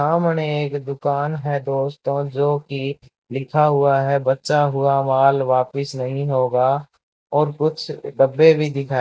सामने एक दुकान है दोस्तों जोकि लिखा हुआ है बेचा हुआ माल वापस नहीं होगा और कुछ डब्बे भी दिखाई --